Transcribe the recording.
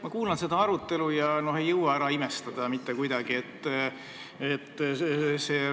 Ma kuulan seda arutelu ega jõua mitte kuidagi ära imestada.